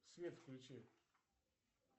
свет включи